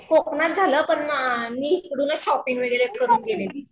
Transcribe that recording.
कोकणात झालं पण मी इकडूनच शॉपिंग वगैरे करून गेलेली.